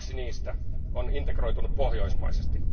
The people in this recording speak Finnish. Kaksi niistä on integroitunut pohjoismaisesti.